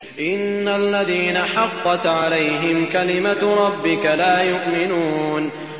إِنَّ الَّذِينَ حَقَّتْ عَلَيْهِمْ كَلِمَتُ رَبِّكَ لَا يُؤْمِنُونَ